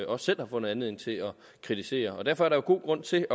også selv har fundet anledning til at kritisere derfor er der god grund til